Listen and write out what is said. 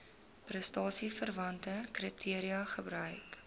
prestasieverwante kriteria gebruik